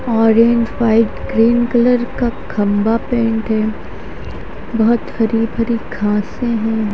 Orange white green colour का खंभा paint है बहुत हरी भरी घासे हैं।